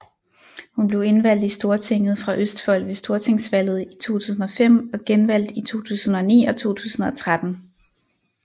Hun blev indvalgt i Stortinget fra Østfold ved stortingsvalget i 2005 og genvalgt i 2009 og 2013